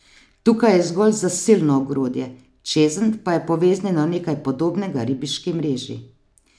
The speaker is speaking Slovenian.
Tukaj je zgolj zasilno ogrodje, čezenj pa je poveznjeno nekaj podobnega ribiški mreži.